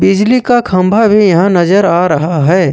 बिजली का खंभा भी यहां नजर आ रहा है।